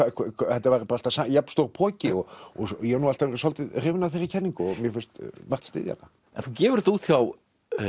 þetta væri alltaf jafn stór poki ég hef alltaf verið svolítið hrifinn af þeirri kenningu og finnst margt styðja hana en þú gefur þetta út hjá